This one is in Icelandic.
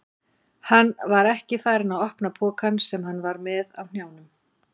Hann var ekki farinn að opna pokann sem hann var með á hnjánum.